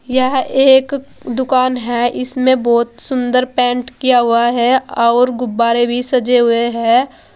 यह एक दुकान है इसमें बहुत सुंदर पेंट किया हुआ है और गुब्बारे भी सजे हुए हैं।